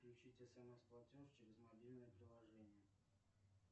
включить смс платеж через мобильное приложение